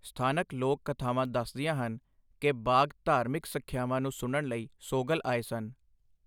ਸਥਾਨਕ ਲੋਕ ਕਥਾਵਾਂ ਦੱਸਦੀਆਂ ਹਨ ਕਿ ਬਾਘ ਧਾਰਮਿਕ ਸਿੱਖਿਆਵਾਂ ਨੂੰ ਸੁਣਨ ਲਈ ਸੋਗਲ ਆਏ ਸਨ।